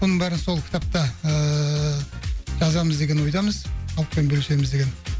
бұның бәрін сол кітапта ыыы жазамыз деген ойдамыз халықпен бөлісеміз деген